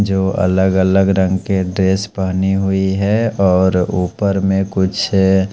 जो अलग अलग रंग के ड्रेस पहनी हुई है और ऊपर में कुछ--